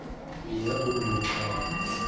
я тут был прав